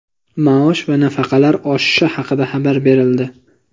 Maosh va nafaqalar oshishi haqida xabar berildi.